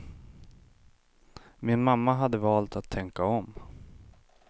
Min mamma hade valt att tänka om.